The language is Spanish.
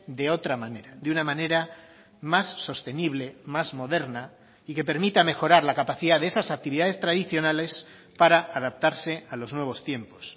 de otra manera de una manera más sostenible más moderna y que permita mejorar la capacidad de esas actividades tradicionales para adaptarse a los nuevos tiempos